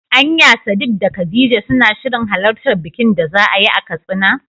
Anya Sadik da khadija suna shirin halartar bikin da za'ayi a Katsina?